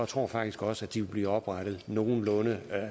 tror faktisk også at de vil blive oprettet nogenlunde